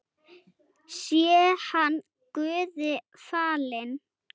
Sé hann Guði falinn.